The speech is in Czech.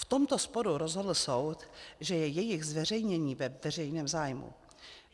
V tomto sporu rozhodl soud, že je jejich zveřejnění ve veřejném zájmu.